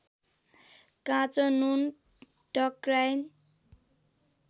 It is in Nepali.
काँचो नुन टक्र्याइन्